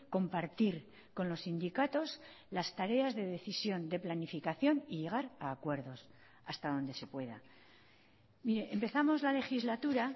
compartir con los sindicatos las tareas de decisión de planificación y llegar a acuerdos hasta donde se pueda mire empezamos la legislatura